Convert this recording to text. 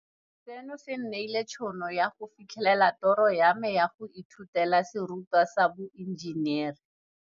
Seno se nneile tšhono ya go fitlhelela toro ya me ya go ithutela serutwa sa boe njenere.